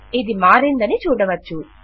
ఇది మారిందని చూడవచ్చు